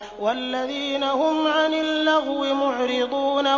وَالَّذِينَ هُمْ عَنِ اللَّغْوِ مُعْرِضُونَ